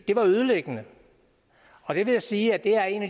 det var ødelæggende og jeg vil sige at det er en